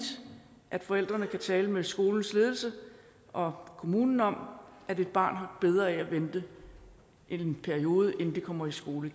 at forældrene kan tale med skolens ledelse og kommunen om at et barn har bedre af at vente i en periode inden det kommer i skole